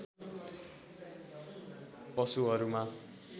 पशुहरूमा